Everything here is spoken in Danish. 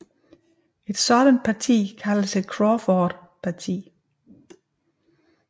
Et sådant parti kaldes et crawfordparti